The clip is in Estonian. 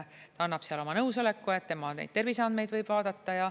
Ta annab seal oma nõusoleku, et tema terviseandmeid võib vaadata.